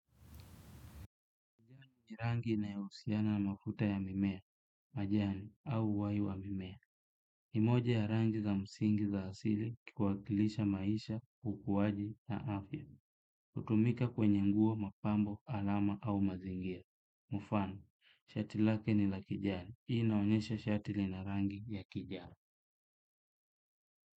Ni rangi inayohusiana na uvuta wa mimea majani au uhai wa mimea. Nimoja ya rangi za msingi za asili ikikwakilisha maisha, ukuwaji na afya. Hutumika kwenye nguo mapambo alama au mazingira. Mufano, shatilake ni la kijani. Hii inaonyesha shati lina rangi ya kijani.